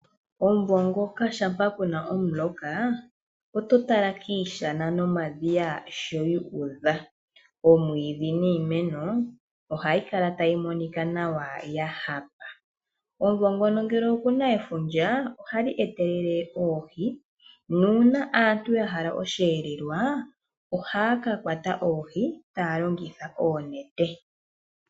Omumvo ngoka ngele oku na omuloka oto tala kiishana nomadhiya nkene guudha. Oomwiidhi niimeno yilwe ohayi kala tayi monika nawa ya hapa. Omumvo ngono ngele oku na efundja, ohali etelele oohi. Uuna aantu ya hala osheelelwa ohaa ka kwata oohi taya longitha oonete.